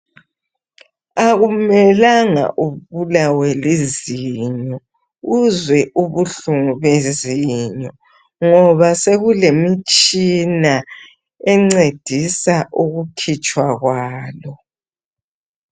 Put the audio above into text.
Akumelanga ubulawe lizinyo ,uzwe ubuhlungu bezinyo .Ngoba sekulemitshina encedisa ukukhitshwa kwalo.